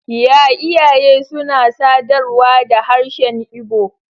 Y iyaye suna sadarwa da harshen Igbo.